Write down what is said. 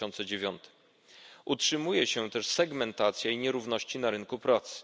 2009. Utrzymuje się też segmentacja i nierówności na rynku pracy.